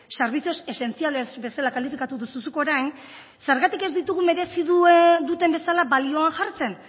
servicios esenciales bezala kalifikatu duzu zuk orain zergatik ez ditugu merezi duten bezala balioan jartzen